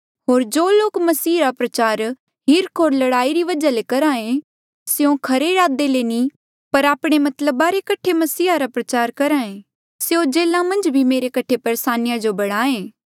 होर जो लोक मसीह रा प्रचार हीर्ख होर लड़ाई री वजहा ले करहा ऐें स्यों खरे इरादे ले नी पर आपणे मतलबा कठे मसीहा रा प्रचार करहा ऐें स्यों जेल्हा मन्झ भी मेरी कठे परेसानिया जो बढ़ाहें